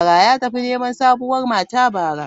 Ya tafi neman sabuwar mata bara.